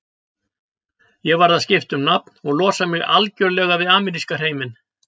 Ég varð að skipta um nafn og losa mig algjörlega við ameríska hreiminn.